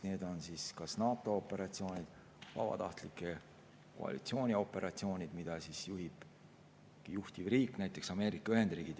Need on kas NATO operatsioonid või vabatahtlike koalitsiooni operatsioonid, mida juhib juhtivriik, näiteks Ameerika Ühendriigid.